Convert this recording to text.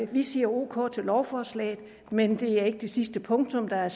vi siger ok til lovforslaget men det er ikke det sidste punktum der er